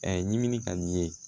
ɲimin ka di ye